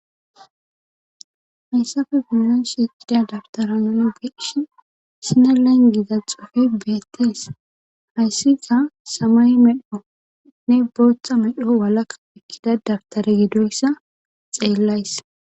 Hayssafe buyon shieqida dabtaranoon geshi sina langiza xofe beettes hayssiza samay medhonne booththa medho walaka ekkida dabtare gidoyssa xeellays